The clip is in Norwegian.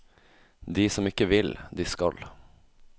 De som ikke vil, de skal.